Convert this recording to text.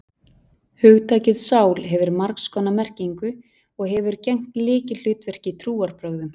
Hugtakið sál hefur margs konar merkingu, og hefur gegnt lykilhlutverki í trúarbrögðum.